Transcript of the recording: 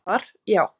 Svar já.